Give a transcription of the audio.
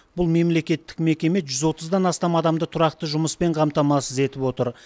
бұл мемлекеттік мекеме жүз отыздан астам адамды тұрақты жұмыспен қамтамасыз етіп отыр